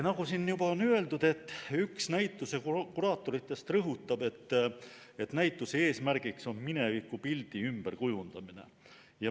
Nagu siin juba on öeldud, rõhutab üks näituse kuraatoritest, et näituse eesmärgiks on minevikupildi ümberkujundamine.